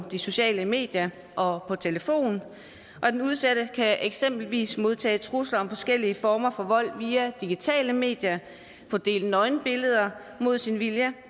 sociale medier og på telefon og den udsatte kan eksempelvis modtage trusler om forskellige former for vold via digitale medier få delt nøgenbilleder mod sin vilje